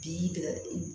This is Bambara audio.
Bi